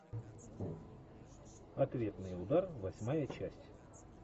ответный удар восьмая часть